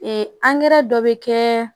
Ee angɛrɛ dɔ bɛ kɛ